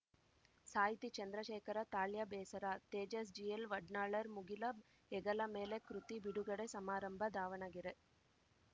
ಸಾಹಿತಿ ಚಂದ್ರಶೇಖರ ತಾಳ್ಯ ಬೇಸರ ತೇಜಸ್‌ ಜಿಎಲ್‌ವಡ್ನಾಳ್‌ರ ಮುಗಿಲ ಹೆಗಲ ಮೇಲೆ ಕೃತಿ ಬಿಡುಗಡೆ ಸಮಾರಂಭ ದಾವಣಗೆರೆ